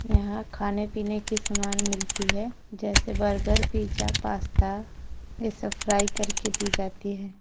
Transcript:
यहां खाने पीने की समान मिलती है जैसे बर्गर पिज्जा पास्ता ये सब फ्राई करके दी जाती है।